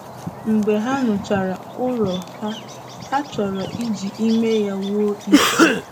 Mgbe ha nụchara ụrọ, ha na-ahọrọ iji ya n'ime ọnwa isii.